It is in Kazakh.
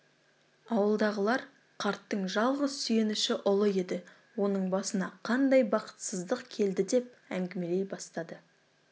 ауылдағылар қарттың жалғыз сүйеніші ұлы еді оның басына қандай бақытсыздық келді деп әңгімелей бастады